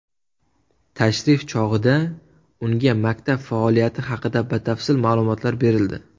Tashrif chog‘ida unga maktab faoliyati haqida batafsil ma’lumotlar berildi.